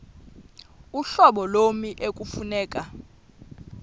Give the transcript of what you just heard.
uhlobo lommi ekufuneka